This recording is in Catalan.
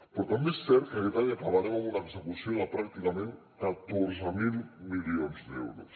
però també és cert que aquest any acabarem amb una execució de pràcticament catorze mil milions d’euros